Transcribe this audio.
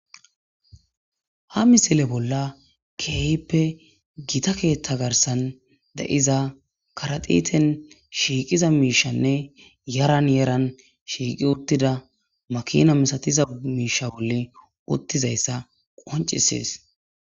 ha misile bolla keehppe gita keethta garsan da7iza karatiten shiiqiza miishanne yaran yeran shiiqi uttida makina misatiza miisha bolle uttizayssa qoncisees